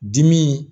Dimi